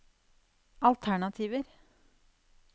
alternativer